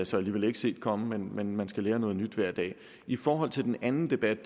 så alligevel ikke set komme men man skal jo lære noget nyt hver dag i forhold til den anden debat